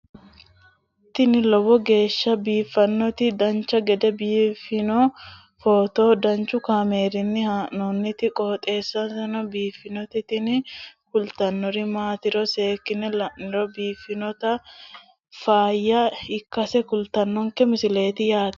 tini lowo geeshsha biiffannoti dancha gede biiffanno footo danchu kaameerinni haa'noonniti qooxeessa biiffannoti tini kultannori maatiro seekkine la'niro biiffannota faayya ikkase kultannoke misileeti yaate